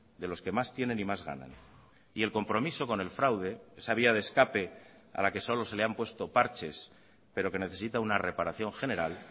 de los que más tienen y más ganan y el compromiso con el fraude esa vía de escape a la que solo se le han puesto parches pero que necesita una reparación general